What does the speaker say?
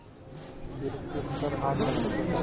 फिर सिर पर हाथ रखकर देखा